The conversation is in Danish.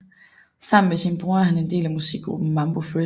Sammen med sin bror er han del af musikgruppen Mambo Fresh